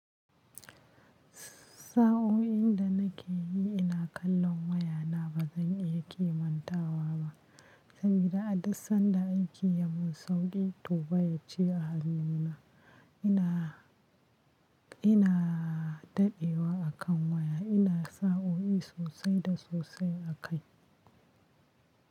Sa'o'in da nake yi ina kallon wayana ba zan iya kimantawa ba, sabida a duk sadda aiki yamin sauri to wayar ce a hannuna. Ina, ina dadewa a kan waya, ina sa'o'i sosai da sosai a kai.